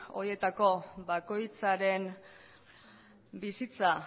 horietako bakoitzaren bizitza